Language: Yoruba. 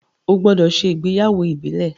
o gbódò ṣe ìgbéyàwó Ibile!